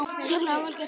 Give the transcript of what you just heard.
Sérlega vel gert.